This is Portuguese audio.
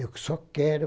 Eu que só quero...